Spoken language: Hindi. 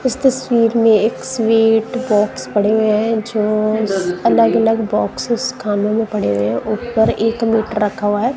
इस तस्वीर में एक स्वीट बॉक्स पड़े हुए हैं जो अलग अलग बॉक्सेस खाने में पड़े हुए हैं ऊपर एक मीटर रखा हुआ है।